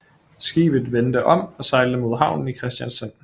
Skibet vendte om og sejlede mod havnen i Kristiansand